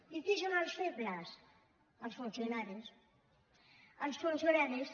i qui són els febles els funcionaris els funcionaris